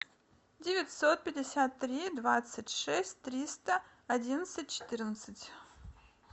девятьсот пятьдесят три двадцать шесть триста одинадцать четырнадцать